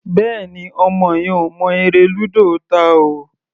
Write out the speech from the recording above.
Bẹ́ẹ̀ni, ọmọ yẹn ò mọ eré lúdò ta o.